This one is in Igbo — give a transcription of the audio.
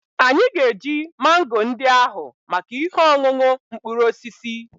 Anyị ga-eji mango ndị ahụ maka ihe ọṅụṅụ mkpụrụ osisi